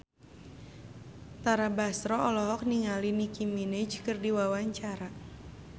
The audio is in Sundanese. Tara Basro olohok ningali Nicky Minaj keur diwawancara